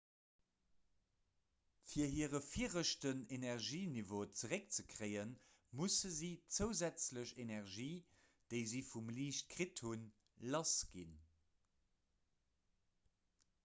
fir hire viregten energieniveau zeréckzekréien musse si d'zousätzlech energie déi si vum liicht kritt hutt lassginn